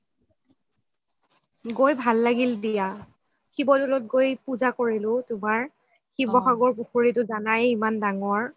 গৈ ভাল লাগিল দিয়া শিৱদৌলত গৈ পুজা কৰিলো তুমাৰ শিৱসাগৰ পুখুৰিটো জানাই ইমান ডাঙৰ